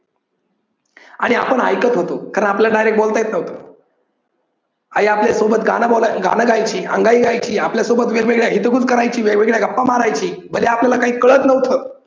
आणि आपण ऐकत होतो कारण आपल्याला direct बोलता येत नव्हत. आई आपल्या सोबत गान गायची, अंगाई गायची, आपल्या सोबत वेग वेगळ्या हितगुज करायची, वेग वेगळ्या गप्पा मारायची पण ते आपल्याला काही काळत नव्हत.